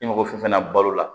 I mago fɛn fɛn na balo la